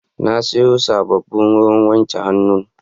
Na sayo sabbin wurin wanke hannu.